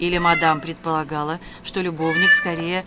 или мадам предполагала что любовник скорее